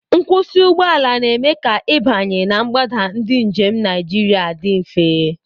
Nkwụsị ụgbọ ala na-eme ka ịbanye na mgbada ndị njem Naijiria dị mfe.